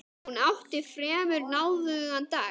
Hún átti fremur náðugan dag.